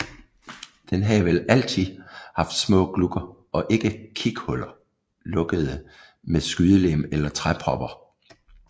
Den havde vel altid haft små glugger eller kighuller lukkede med skydelem eller træpropper